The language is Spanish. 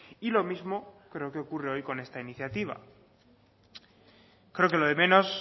y lo mismo creo que ocurre hoy con esta iniciativa creo que lo de menos